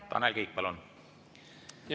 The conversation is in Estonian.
Tanel Kiik, palun!